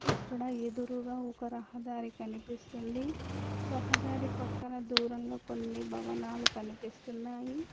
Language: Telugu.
ఇక్కడ ఎదురుగా ఒక రహదారి కనిపిస్తుంది రహదారి పక్కన దూరంగా కొన్ని భవనాలు కనిపిస్తున్నాయి.